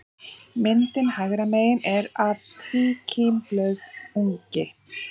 Myndin hægra megin er af tvíkímblöðungi.